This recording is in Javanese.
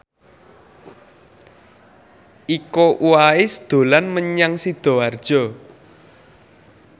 Iko Uwais dolan menyang Sidoarjo